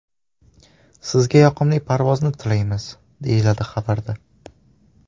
Sizga yoqimli parvozni tilaymiz!”, deyiladi xabarda.